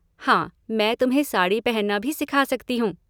हाँ मैं तुम्हें साड़ी पहनना भी सिखा सकती हूँ।